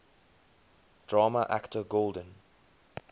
drama actor golden